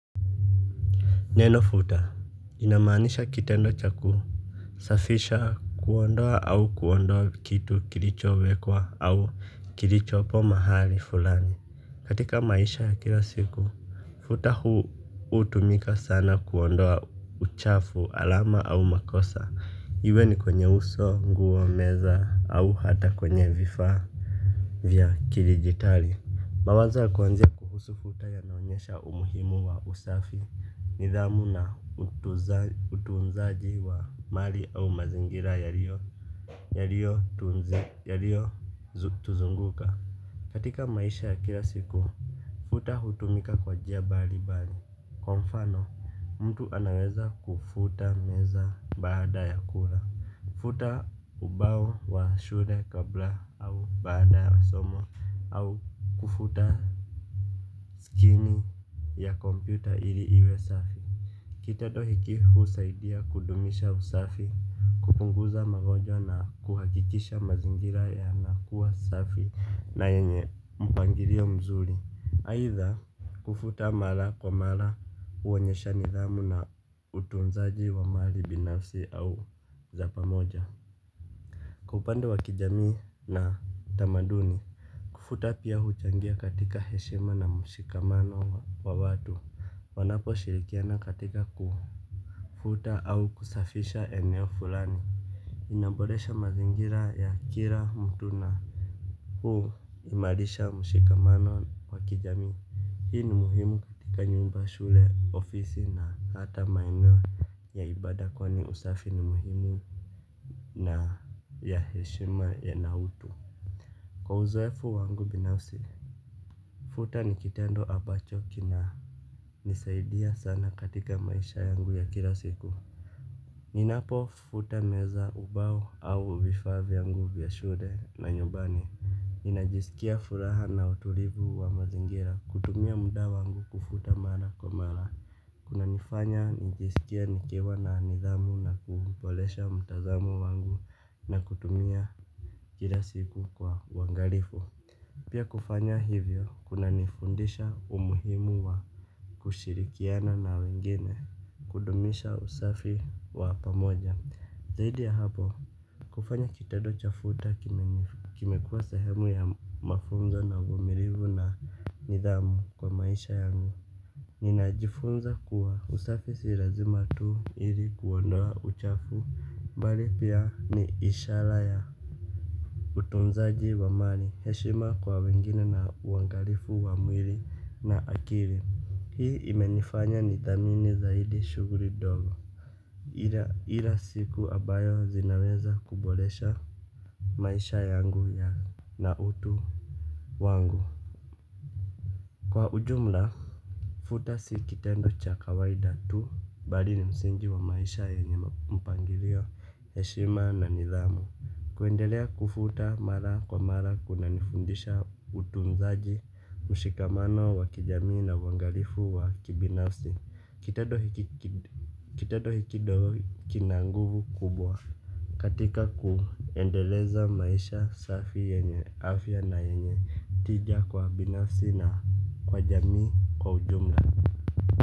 Neno futa linamaanisha kitendo cha kusafisha kuondoa au kuondoa kitu kilichowekwa au kilichopo mahali fulani katika maisha ya kila siku. Futa huu hutumika sana kuondoa uchafu alama au makosa iwe ni kwenye uso nguo meza au hata kwenye vifaa vya kidijitali. Mawazo ya kuanzia kuhusu futa yanaonyesha umuhimu wa usafi nidhamu na utunzaji wa mali au mazingira yaliyo tunzi, yalio tuzunguka. Katika maisha ya kila siku, futa hutumika kwa njia mbali mbali. Kwa mfano, mtu anaweza kufuta meza baada ya kula futa ubao wa shule kabla au baada somo. Au kufuta skini ya kompyuta ili iwe safi. Kitendo hiki husaidia kudumisha usafi. Kupunguza magonjwa na kuhakikisha mazingira yanakuwa safi. Na yenye mpangilio mzuri aitha kufuta mara kwa mara huonyesha nidhamu na utunzaji wa mali binafsi au za pamoja. Kwa upande wa kijamii na tamaduni kufuta pia huchangia katika heshima na mshikamano wa watu. Wanaposhirikiana katika ku kufuta au kusafisha eneo fulani. Inaboresha mazingira ya kila mtu na huimarisha mshikamano wa kijamii. Hii ni muhimu katika nyumba shule ofisi na hata maeneo ya ibada kwani usafi ni muhimu. Na ya heshima ya na utu. Kwa uzoefu wangu binafsi futa ni kitendo ambacho kina nisaidia sana katika maisha yangu ya kila siku ninapofuta meza ubao au vifaa vyangu vya shule na nyumbani. Ninajisikia furaha na utulivu wa mazingira. Kutumia muda wangu kufuta mara kwa mara. Kuna nifanya nijisikie nikiwa na nidhamu na kuuboresha mtazamo wangu. Na kutumia kila siku kwa uangalifu. Pia kufanya hivyo kuna nifundisha umuhimu wa kushirikiana na wengine kudumisha usafi wa pamoja. Zaidi ya hapo kufanya kitendo cha futa kimekuwa sehemu ya mafunzo na uvumilivu na nidhamu kwa maisha yangu. Ninajifunza kuwa usafi si lazima tu ili kuondoa uchafu mbali pia ni ishara ya utunzaji wa mali heshima kwa wengine na uangalifu wa mwili na akili. Hii imenifanya nithamini zaidi shuguli ndogo. Ila siku ambayo zinaweza kuboresha maisha yangu ya na utu wangu. Kwa ujumla, futa si kitendo cha kawaida tu. Bali ni msingi wa maisha yenye mpangilio heshima na nithamu. Kuendelea kufuta mara kwa mara kuna nifundisha utunzaji mshikamano wa kijamii na uangalifu wa kibinafsi kitendo hiki ndio kina nguvu kubwa katika kuendeleza maisha safi yenye afya na yenye tija kwa binafsi na kwa jamii kwa ujumla.